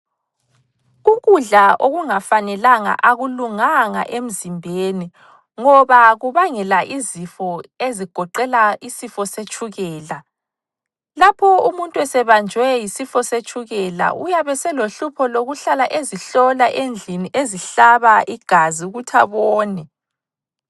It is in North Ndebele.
Ukudla okungafanelanga akulunganga emzimbeni ngoba kubangela izifo ezigoqela isifo setshukela. Lapho umuntu esebanjwe yisifo setshukela uyabe selohlupho lokuhlala ezihlola endlini ezihlaba igazi ukuthi abone.